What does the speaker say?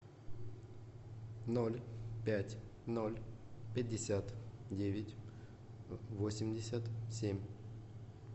ноль пять ноль пятьдесят девять восемьдесят семь